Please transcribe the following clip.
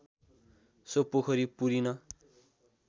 so पोखरी पुरिन